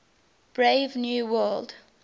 brave new world